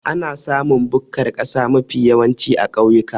Ana samun bukkar kasa mafi yawanci a kauyuka